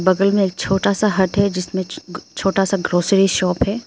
बगल में एक छोटा सा हाट है जिसमें छोटा सा ग्रॉसरी शॉप है।